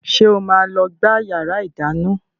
Ṣé o máa lọ gbá yàrá ìdáná?